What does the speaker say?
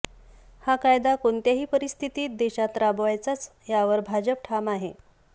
हा कायदा कोणत्याही परिस्थितीत देशात राबवायचाच यावर भाजप ठाम आहे